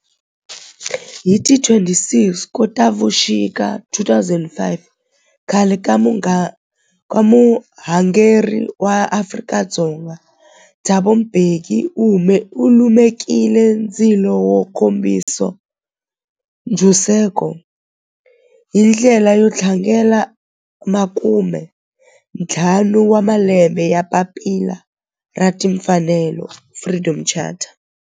Hi ti 26 Khotavuxika 2005 khale ka murhangeri wa Afrika-Dzonga Thabo Mbeki u lumekile ndzilo wo kombisa ntshuxeko, hi ndlela yo tlangela makumentlhanu wa malembe ya papila ra timfanelo Freedom Charter.